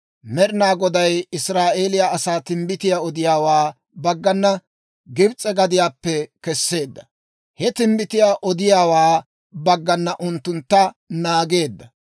Med'inaa Goday Israa'eeliyaa asaa timbbitiyaa odiyaawaa baggana Gibs'e gadiyaappe kesseedda; he timbbitiyaa odiyaawaa baggana unttuntta naageedda.